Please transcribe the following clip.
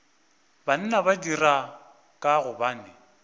banna ba dira ka gobane